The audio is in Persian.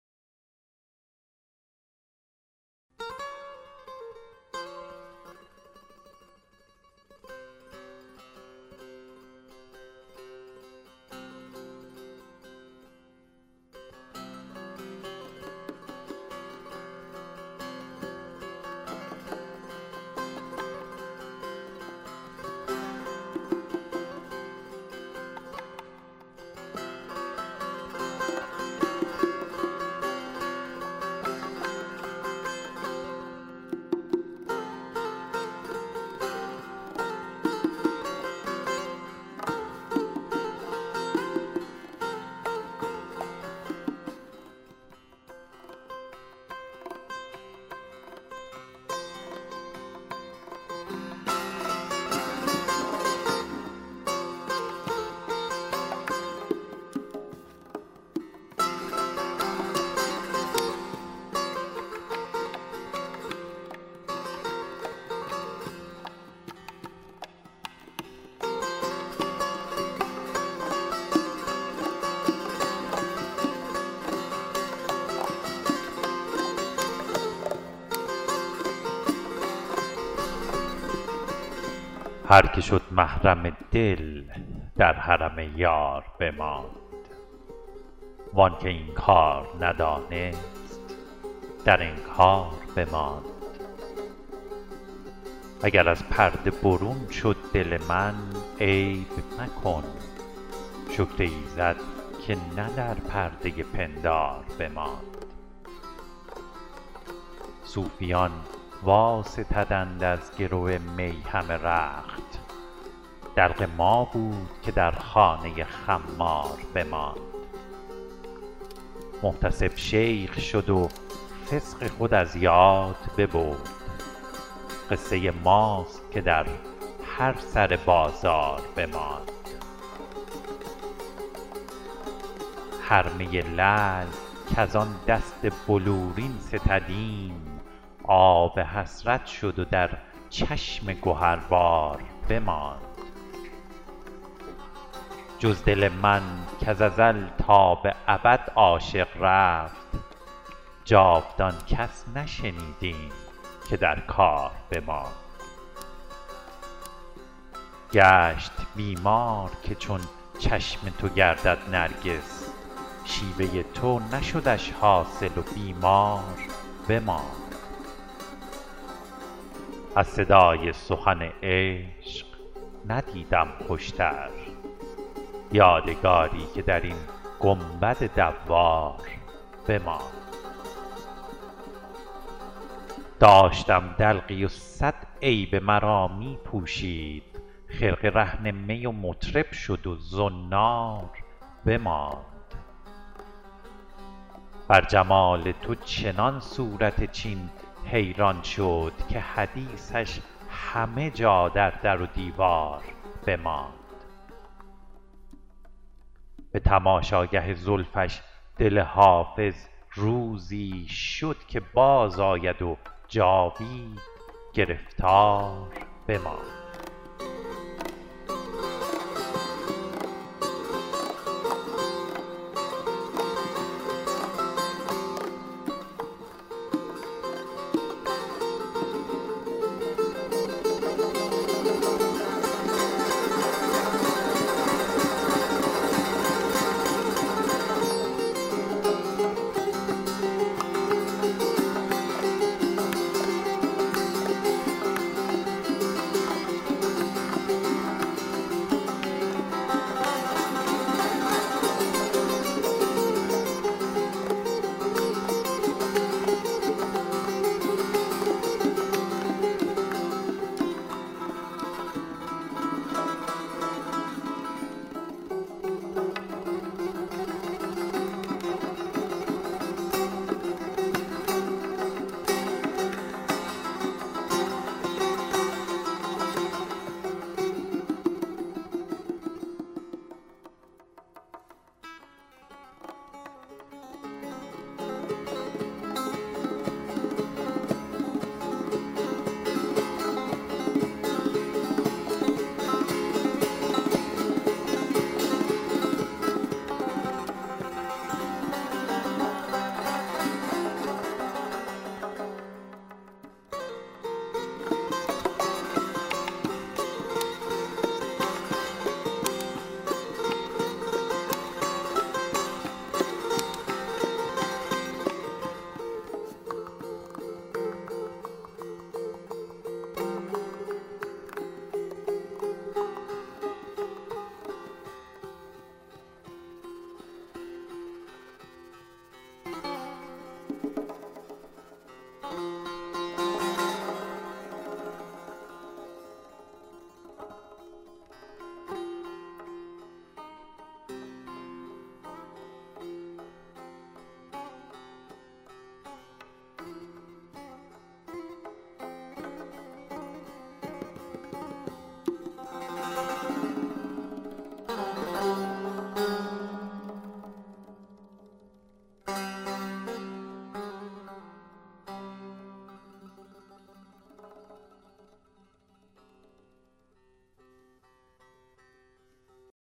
هر که شد محرم دل در حرم یار بماند وان که این کار ندانست در انکار بماند اگر از پرده برون شد دل من عیب مکن شکر ایزد که نه در پرده پندار بماند صوفیان واستدند از گرو می همه رخت دلق ما بود که در خانه خمار بماند محتسب شیخ شد و فسق خود از یاد ببرد قصه ماست که در هر سر بازار بماند هر می لعل کز آن دست بلورین ستدیم آب حسرت شد و در چشم گهربار بماند جز دل من کز ازل تا به ابد عاشق رفت جاودان کس نشنیدیم که در کار بماند گشت بیمار که چون چشم تو گردد نرگس شیوه تو نشدش حاصل و بیمار بماند از صدای سخن عشق ندیدم خوشتر یادگاری که در این گنبد دوار بماند داشتم دلقی و صد عیب مرا می پوشید خرقه رهن می و مطرب شد و زنار بماند بر جمال تو چنان صورت چین حیران شد که حدیثش همه جا در در و دیوار بماند به تماشاگه زلفش دل حافظ روزی شد که بازآید و جاوید گرفتار بماند